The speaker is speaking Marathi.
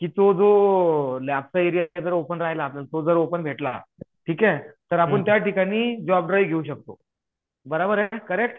तो हो लॅबचा एरिया ओपन जर राहिलना तर जो ओपन भेटला ठीक हे तर आपण त्या ठिकाणी जॉब ड्राईव घेऊ शकतो बराबर आहे करेक्त